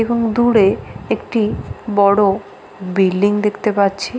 এবং দূরে একটি বড় বিল্ডিং দেখতে পাচ্ছি।